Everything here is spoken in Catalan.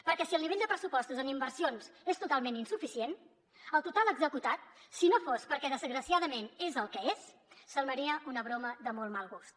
perquè si el nivell de pressupostos en inversions és totalment insuficient el total executat si no fos perquè desgraciadament és el que és semblaria una broma de molt mal gust